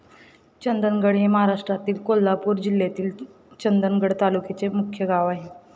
चंदगड हे महाराष्ट्रातील कोल्हापूर जिल्ह्यातील चंदगड तालुक्याचे मुख्य गाव आहे.